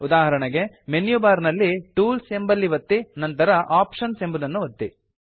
ಉದಾಹರಣೆಗೆ menu bar ನಲ್ಲಿ tools ಎಂಬಲ್ಲಿ ಒತ್ತಿ ನಂತರ ಆಪ್ಷನ್ಸ್ ಎಂಬುದನ್ನು ಒತ್ತಿ